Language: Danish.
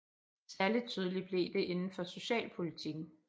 Særlig tydeligt blev det inden for socialpolitikken